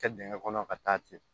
Kɛ dingɛ kɔnɔ ka taa ten